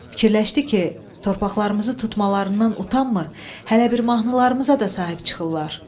Fikirləşdi ki, torpaqlarımızı tutmalarından utanmır, hələ bir mahnılarımıza da sahib çıxırlar.